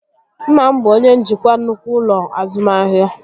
Nna m bụ onye njikwa nnukwu ụlọ azụmahịa